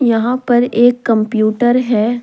यहां पर एक कंप्यूटर है।